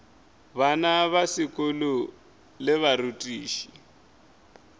bana ba sekolo le barutiši